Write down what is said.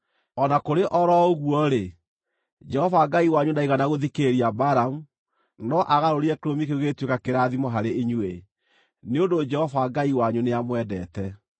O na kũrĩ o ro ũguo-rĩ, Jehova Ngai wanyu ndaigana gũthikĩrĩria Balamu, no aagarũrire kĩrumi kĩu gĩgĩtuĩka kĩrathimo harĩ inyuĩ, nĩ ũndũ Jehova Ngai wanyu nĩamwendete.